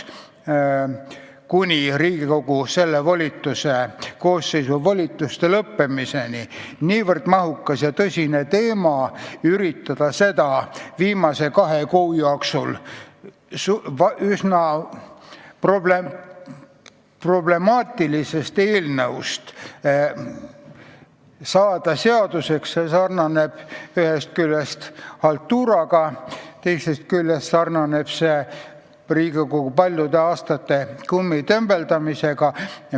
Riigikogu selle koosseisu volituste lõppemiseni on jäänud väga vähe aega ja üritada viimase kahe kuuga nii mahukas ja tõsine probleem lahendada, muuta see üsna problemaatiline eelnõu seaduseks – see sarnaneb ühest küljest haltuuraga, teiselt küljest aga Riigikogu paljude aastate kummitembeldamisega.